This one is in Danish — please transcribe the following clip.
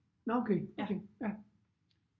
Nåh okay okay ja